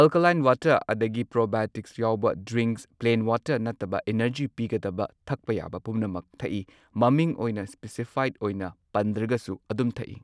Alkaline water ꯑꯗꯒꯤ probiotics ꯌꯥꯎꯕ drinks plain water ꯅꯠꯇꯕ ꯑꯦꯅꯔꯖꯤ ꯄꯤꯒꯗꯕ ꯊꯛꯄ ꯌꯥꯕ ꯄꯨꯝꯅꯃꯛ ꯊꯛꯏ꯫ ꯃꯃꯤꯡ ꯑꯣꯏꯅ ꯁ꯭ꯄꯦꯁꯤꯐꯥꯏꯗ ꯑꯣꯏꯅ ꯄꯟꯗ꯭ꯔꯒꯁꯨ ꯑꯗꯨꯝ ꯊꯛꯏ꯫